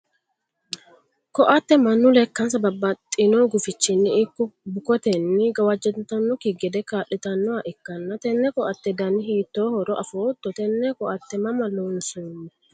koatte mannu lekkansa babbaxino gufichinni ikko bukotenni gawajjantannokki gede kaa'litannoha ikkanna, tenne koatte dani hiittoohoro afootto? tenne koatteno mama loonsanni?